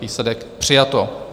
Výsledek: přijato.